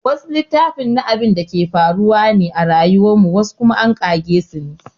Wasu littafin na abinda ke faruwa ne a rayuwar mu wasu kuma an ƙage sune